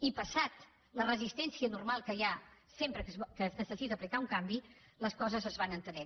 i passada la resistència normal que hi ha sempre que es necessita aplicar un canvi les coses es van entenent